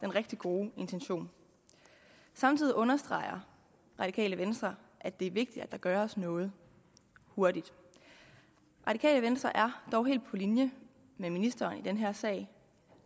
rigtig gode intention samtidig understreger radikale venstre at det er vigtigt at der gøres noget hurtigt radikale venstre er dog helt på linje med ministeren i den her sag